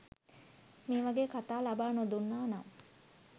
මේ වගේ කතා ලබා නොදුන්නා නම්